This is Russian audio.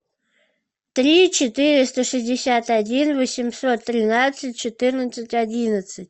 три четыреста шестьдесят один восемьсот тринадцать четырнадцать одиннадцать